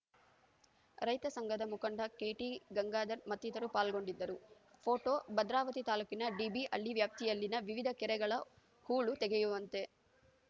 ರೈತ ಸಂಘದ ಮುಖಂಡ ಕೆಟಿ ಗಂಗಾಧರ್‌ ಮತ್ತಿತರರು ಪಾಲ್ಗೊಂಡಿದ್ದರು ಪೋಟೋ ಭದ್ರಾವತಿ ತಾಲೂಕಿನ ಡಿಬಿ ಹಳ್ಳಿ ವ್ಯಾಪ್ತಿಯಲ್ಲಿನ ವಿವಿಧ ಕೆರೆಗಳ ಹೂಳು ತೆಗೆಯುವಂತೆ